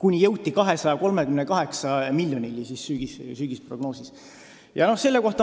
kuni jõuti sügisprognoosis 238 miljonini.